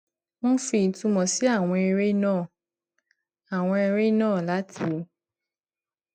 wọn fi itunmo si awon ere náà awon ere náà láti